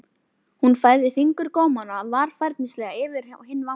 Hún færði fingurgómana varfærnislega yfir á hinn vangann.